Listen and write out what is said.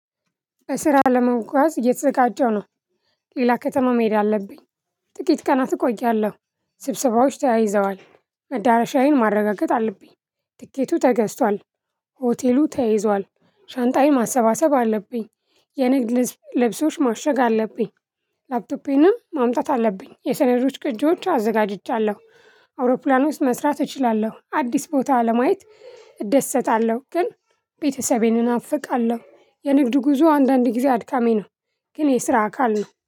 ለስራ ለመጓዝ እየተዘጋጀሁ ነው። ሌላ ከተማ መሄድ አለብኝ። ጥቂት ቀናት እቆያለሁ። ስብሰባዎች ተያይዘዋል። መዳረሻዬን ማረጋገጥ አለብኝ። ትኬቱ ተገዝቷል። ሆቴሉ ተይዟል ሻንጣዬን ማሰባሰብ አለብኝ። የንግድ ልብሶች ማሸግ አለብኝ። ላፕቶፔንም ማምጣት አለብኝ የሰነዶች ቅጂዎች አዘጋጅቻለሁ አውሮፕላን ውስጥ መስራት እችላለሁ። አዲስ ቦታ ለማየት እደሰታለሁ። ግን ቤተሰቤን እናፍቃለሁ። የንግድ ጉዞ አንዳንድ ጊዜ አድካሚ ነው። ግን የስራ አካል ነው